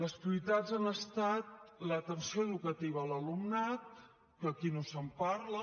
les prioritats han estat l’atenció educativa a l’alumnat que aquí no se’n parla